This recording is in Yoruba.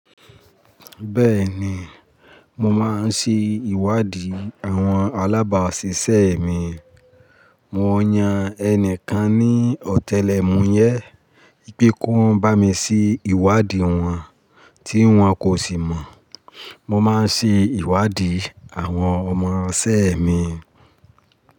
Bẹ́ẹ̀ni, mo máa ń ṣé ìwádìí àwọn alábàásisẹ́ mi, mo yan ẹnìkan ní ọ̀tẹlẹ̀ múyẹ́ pé kó bá mi ṣé ìwádìí wọn tí wọ́n kò sì mọ̀. Mo máa ń ṣé ìwádìí àwọn ọmọṣẹ́ mi.